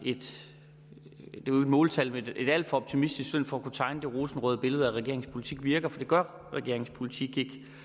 måltal men et alt for optimistisk syn for at kunne tegne et rosenrødt billede af at regeringens politik virker for det gør regeringens politik